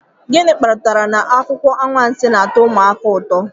gịnị kpatara na akụkọ anwansi na-atọ ụmụaka ụtọ